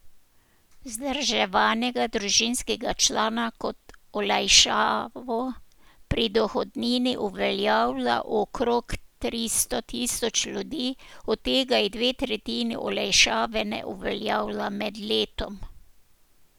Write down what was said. Vzdrževanega družinskega člana kot olajšavo pri dohodnini uveljavlja okrog tristo tisoč ljudi, od tega jih dve tretjini olajšave ne uveljavlja med letom.